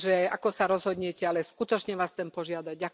Ako sa rozhodnete ale skutočne vás chcem požiadať.